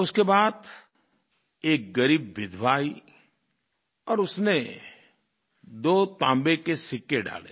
उसके बाद एक ग़रीब विधवा आई और उसने दो तांबे के सिक्के डाले